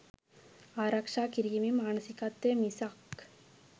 "ආරක්ෂා කිරීමේ" මානසිකවය මිසක්